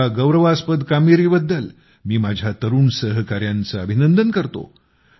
या गौरवास्पद कामगिरीबद्दल मी माझ्या तरुण सहकाऱ्यांचे खूप खूप अभिनंदन करतो